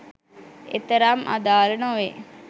එතරම් අදාල නොවේ